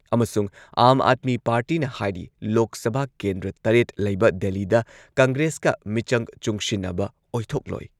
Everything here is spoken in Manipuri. ꯑꯃꯁꯨꯡ ꯑꯥꯥꯝ ꯑꯥꯗꯃꯤ ꯄꯥꯔꯇꯤꯅ ꯍꯥꯏꯔꯤ ꯂꯣꯛ ꯁꯚꯥ ꯀꯦꯟꯗ꯭ꯔ ꯇꯔꯦꯠ ꯂꯩꯕ ꯗꯦꯜꯂꯤꯗ ꯀꯪꯒ꯭ꯔꯦꯁꯀ ꯃꯤꯆꯪ ꯆꯨꯡꯁꯤꯟꯅꯕ ꯑꯣꯏꯊꯣꯛꯂꯣꯏ꯫